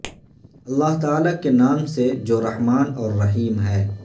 اللہ تعالی کے نام سے جو رحمن اور رحیم ہے